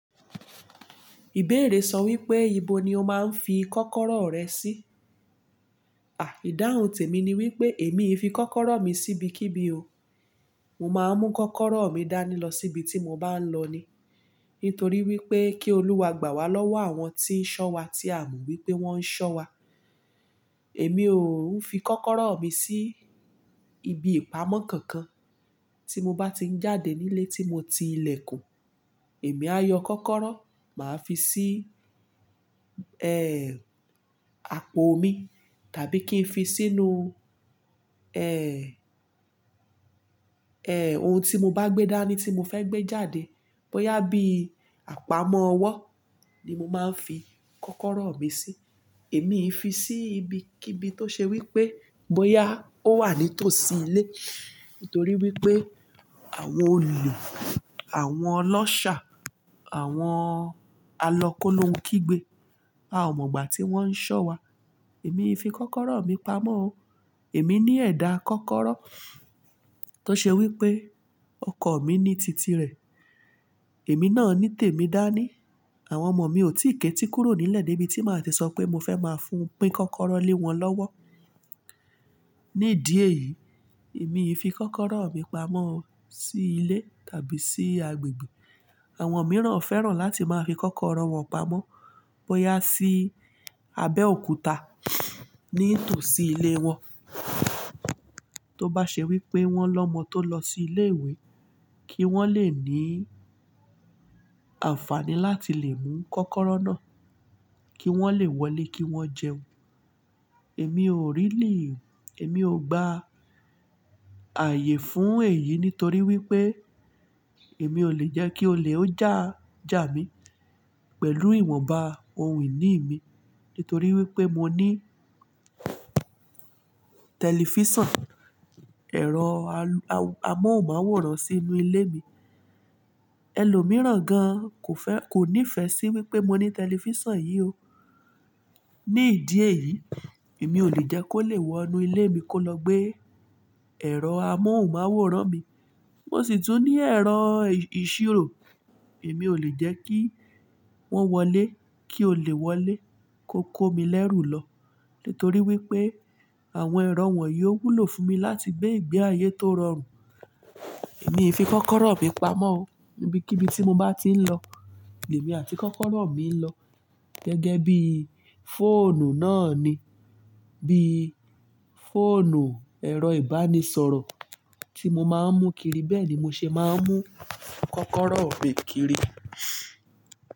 Ìbéèrè sọ wípé ìbò ni o máa ń fi kọ́kọ́rọ́ rẹ sí? Àh, ìdáhùn tèmi ni wípé èmi fi kọ́kọ́rọ́ mi sí ibikíbi o. Mo máa ń mú kọ́kọ́rọ́ mi dání lọ síbi tí mo bá ń lọ ni. Nítorí wípé kí Olúwa gbà wá lọ́wọ́ àwọn tí ń ṣọ́ wa tí a ò mọ wípé wón ń ṣọ́ wa. Èmi ò ń fi kọ́kọ́rọ́ mi sí ibi ìpamọ́ kankan. Tí mo bá ti ń jáde nílé tí mo ti ilẹ̀kùn, èmi á yọ kọ́kọ́rọ́, màá fi sí, ẹ́ẹ́, apò mi tàbí kí n fi sínú, ẹ́ẹ́, ẹ́ẹ́ ohun tí mo bá gbé dání tí mo fẹ́ gbé jáde. Bóyá bí àpamọ́ ọwọ́ ni mo máa ń fi kọ́kọ́rọ́ mi sí. Èmi fi sí ibikíbi tó ṣe wípé bóyá ó wà ní tòsí ilé. Nítorí wípé àwọn ole, àwọn ọlọ́ṣà, àwọn alọ kólohun kígbe. A ò mọ ìgbà tí wón ń ṣọ́ wa. Èmi fi kọ́kọ́rọ́ mi pamọ́ o. Èmi ní ẹ̀dà kọ́kọ́rọ́ tó ṣe wípé ọkọ̀ mi ní titi rẹ̀. Èmi náà ní tèmi dání. Àwọn ọmọ mi ò tíì ké tí kúrò nílẹ̀ débi tí màá ti sọ pé mo fẹ́ máa fún pín kọ́kọ́rọ́ lé wọn lọ́wọ́. Ní ìdí èyí, èmi fi kọ́kọ́rọ́ mi pamọ́ sí ilé tàbí sí agbègbè. Àwọn mìíràn fẹ́ràn láti máa fi kọ́kọ́rọ́ wọn pamọ́ bóyá sí abẹ́ òkúta nítòsí ilé wọn. Tó bá ṣe wípé wón lọmọ tó lọ sí ilé ìwé, kí wón lè ní àǹfàní láti lè mú kọ́kọ́rọ́ náà, kí wón lè wọlé kí wón jẹun. Èmi ò really, èmi ò gba ààyè fún èyí nítorí wípé èmi ò lè jẹ́ kí olè ó jà jà mí pẹ̀lú ìwọ̀nba ohun ìní mi. Nítorí wípé mo ní tẹlifísàn, ẹ̀rọ amóhùnmáwòrán sínú ilé mi. Ẹ̀lòmíràn gan kò fẹ́, kò nífẹ̀ẹ́ sí wípé mo ní tẹlifísàn yìí o. Ní ìdí èyí, èmi ò lè jẹ́ kó lè wọ inú ilé mi kó lọ gbé ẹ̀rọ amóhùnmáwòrán mi. Mo sì tún ní ẹ̀rọ ìṣirò. Èmi ò lè jẹ́ kí wọ́n wọlé, kí olè wọlé kó kó mi lẹ́rù lọ. Nítorí wípé àwọn ẹ̀rọ wọ̀nyí ó wúlò fún mi láti gbé ìgbé ayé tó rọrùn. Èmi fi kọ́kọ́rọ́ mi pamọ́ o, ibikíbi tí mo bá ti ń lọ. Èmi àti kọ́kọ́rọ́ mi ń lọ. Gẹ́gẹ́ bí fóònù náà ni. Bí fóònù, ẹ̀rọ ìbánisọ̀rọ̀ tí mo máa ń mú kiri bẹ́ẹ̀ ni mo ṣe máa ń mú kọ́kọ́rọ́ mi kiri.